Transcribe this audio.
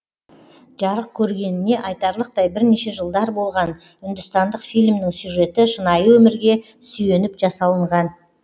жарық көргеніне айтарлықтай бірнеше жылдар болған үндістандық фильмнің сюжеті шынайы өмірге сүйеніп жасалынған